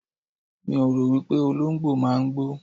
Mi ò rò wípé Olóǹgbò máa ń gbó.